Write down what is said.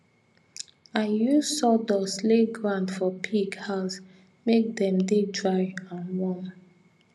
i use sawdust lay ground for pig house make dem dey dry and warm